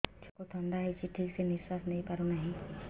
ଛୁଆକୁ ଥଣ୍ଡା ହେଇଛି ଠିକ ସେ ନିଶ୍ୱାସ ନେଇ ପାରୁ ନାହିଁ